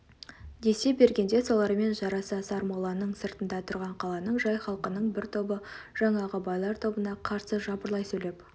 десе бергенде солармен жарыса сармолланың сыртында тұрған қаланың жай халқының бір тобы жаңағы байлар тобына қарсы жапырлай сөйлеп